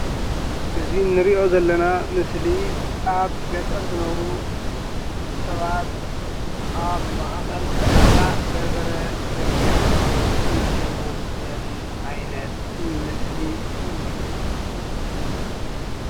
እዚ እንሪኦ ዘለና ምስሊ ኣብ ገጠር ዝነብሩ ሰባት ኣብ ማእኸል ዕዳጋ በርበረ ዘርጊሓ እናሸጡ ዘርኢ ዓይነት ምስሊ እዩ።